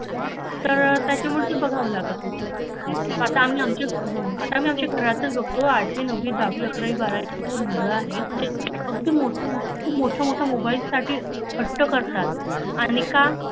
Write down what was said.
तर त्याच्यावरती बघायला लागत हुता आता आम्ही आमच्या, आता आम्ही आमच्या घरातच बघतो दहावी अकरावी बारावीची मुल आहेत खुप मोठ्या मोठ्या मोबाईलसाठी हट्ट करतात आणि का